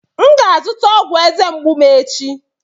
M ga-azụta ọgwụ eze mgbu m echi.